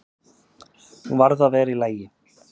Hún varð að vera í lagi.